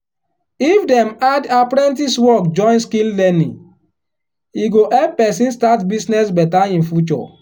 if dem add apprentice work join skill learning e go help person start business better in future.